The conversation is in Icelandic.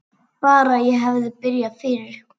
Bara ég hefði byrjað fyrr!